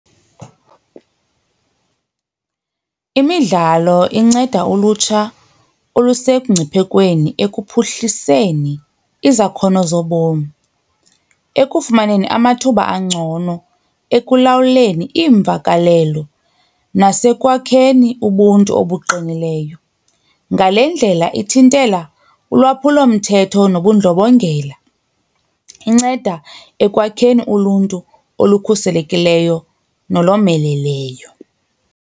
Imidlalo inceda ulutsha olusekungciphekweni ekuphuhliseni izakhono zobomi, ekufumaneni amathuba angcono, ekulawuleni iimvakalelo nasekwakheni ubuntu obuqinileyo. Ngale ndlela ithintela ulwaphulomthetho nobundlobongela, inceda ekwakheni uluntu olukhuselekileyo nolomeleleyo.